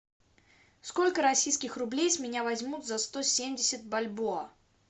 сколько российских рублей с меня возьмут за сто семьдесят бальбоа